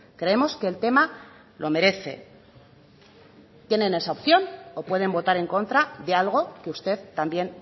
creemos que el tema lo merece tienen esa opción o pueden votar en contra de algo que usted también